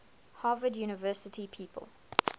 harvard university people